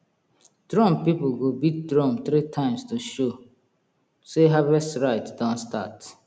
drum people go beat drum three times to show sey harvest rite don start